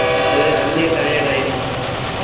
அது அதுலயே tired ஆயிரும்